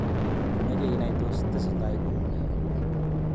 imeche inai tos tesetai kou nee nguni?